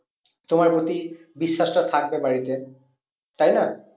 তোমার প্রতি বিশ্বাসটা থাকবে বাড়িতে। তাই না?